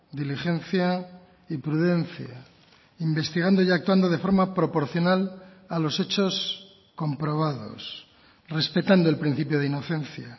diligencia y prudencia investigando y actuando de forma proporcional a los hechos comprobados respetando el principio de inocencia